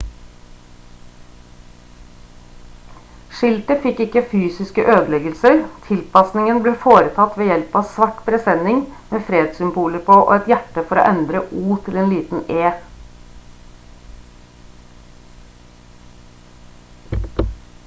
skiltet fikk ikke fysiske ødeleggelser tilpasningen ble foretatt ved hjelp av svart presenning med fredssymboler på og et hjerte for å endre «o» til liten «e»